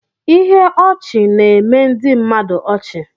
Ihe ọchị na-eme ndị mmadụ ọchị.